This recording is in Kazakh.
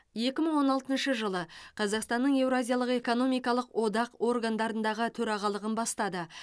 екі мың он алтыншы жылы қазақстан еуразиялық экономикалық одақ органдарындағы төрағалығын бастады